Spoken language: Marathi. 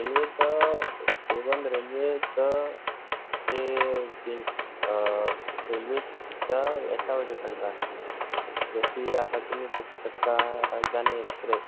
even railway च ते जे अह railway च यांच्यावर depend राहत जशी आता तुम्ही बघू शकता राजधानी express